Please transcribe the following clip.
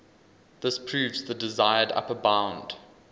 this proves the desired upper bound